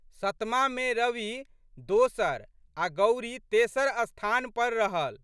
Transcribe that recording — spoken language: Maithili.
सतमामे रवि दोसर आ' गौरी तेसर स्थान पर रहल।